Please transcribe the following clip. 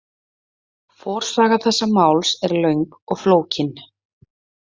Forsaga þessa máls er löng og flókin.